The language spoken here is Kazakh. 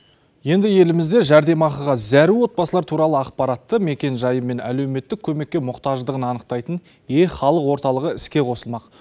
енді елімізде жәрдемақыға зәру отбасылар туралы ақпаратты мекенжайы мен әлеуметтік көмекке мұқтаждығын анықтайтын е халық орталығы іске қосылмақ